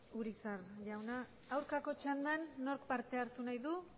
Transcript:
urizar jauna aurkako txandan nork parte hartu nahi du